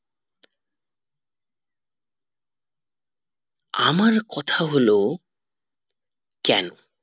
আমার কথা হলো কেন